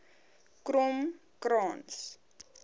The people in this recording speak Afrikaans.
kromkrans